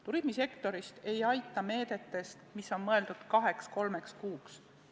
Turismisektoris ei aita meedetest, mis on mõeldud kaheks-kolmeks kuuks.